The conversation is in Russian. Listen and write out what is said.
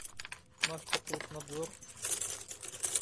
наш потребнадзор